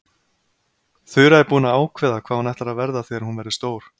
Þura er búin að ákveða hvað hún ætlar að verða þegar hún verður stór.